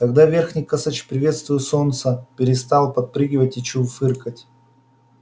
тогда верхний косач приветствуя солнце перестал подпрыгивать и чуфыкать